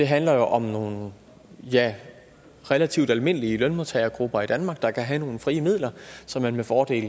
handler jo om nogle relativt almindelige lønmodtagergrupper i danmark der kan have nogle frie midler som man med fordel